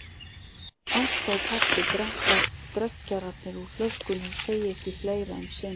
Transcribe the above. Ásta og pabbi drekka dreggjarnar úr flöskunni og segja ekki fleira um sinn.